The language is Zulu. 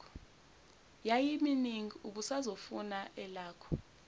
yayiminingi ubusazofuna elakho